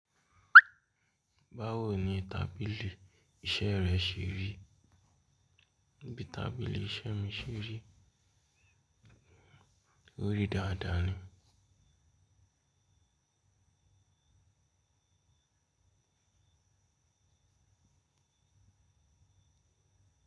Báwo ni tábìlì iṣẹ́ rẹ ṣe rí? Bí tábìlì iṣẹ́ mi ṣe rí? Ó rí dáadáa ni.